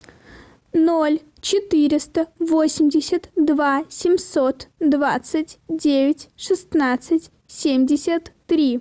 ноль четыреста восемьдесят два семьсот двадцать девять шестнадцать семьдесят три